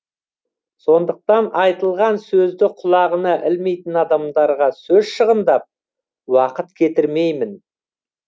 сондықтан айтылған сөзді құлағына ілмейтін адамдарға сөз шығындап уақыт кетірмеймін